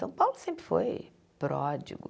São Paulo sempre foi pródigo.